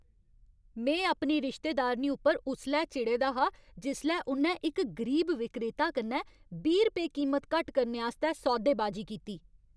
में अपनी रिश्तेदारनी उप्पर उसलै चिड़े दा हा जिसलै उ'न्नै इक गरीब विक्रेता कन्नै बीह् रपेऽ कीमत घट्ट करने आस्तै सौदेबाजी कीती।